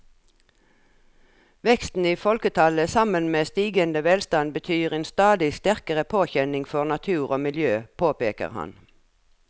Veksten i folketallet sammen med stigende velstand betyr en stadig sterkere påkjenning for natur og miljø, påpeker han.